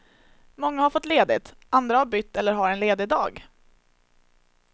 Många har fått ledigt, andra har bytt eller har en ledig dag.